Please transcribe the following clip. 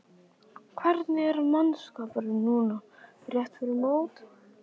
Hvernig er mannskapurinn núna rétt fyrir mót?